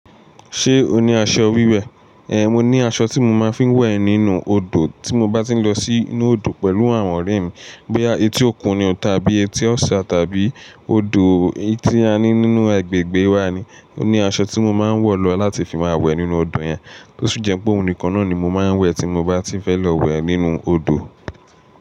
Ṣé o ní aṣọ wíwẹ̀? Ée, mo ní aṣọ tí mo máa ń fi ń wẹ̀ nínú odò tí mo bá ti ń lọ sínú odò pẹ̀lú àwọn ọ̀rẹ́ mi. Bóyá etí òkun ni tàbí etí ọ̀sá tàbí odò tí a ní nínú agbègbè wa ni. Ó ní aṣọ tí mo máa ń wọ̀ lọ láti fi máa wẹ̀ nínú odò yẹn. Tósi jẹ pé òun nìkan ni mo máa ń wẹ tí mo bá ti fẹ́ lọ wẹ̀ nínú odò.